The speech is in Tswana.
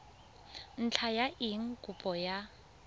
ntlha ya eng kopo ya